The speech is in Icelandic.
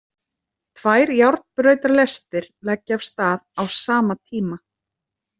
Tvær járnbrautarlestir leggja af stað á sama tíma.